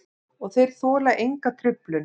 Og þeir þola enga truflun.